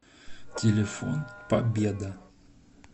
телефон победа